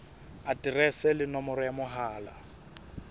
aterese le nomoro ya mohala